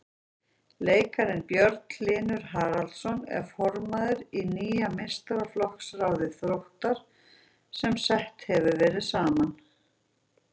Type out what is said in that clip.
Leikarinn Björn Hlynur Haraldsson er formaður í nýju meistaraflokksráði Þróttar sem sett hefur verið saman.